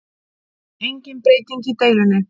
Engin breyting í deilunni